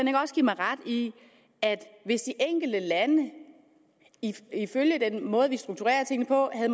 give mig ret i at hvis de enkelte lande ifølge den måde vi strukturerer tingene på havde